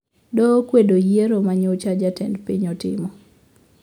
Doho okwedo yiero manyocha jatend piny otimo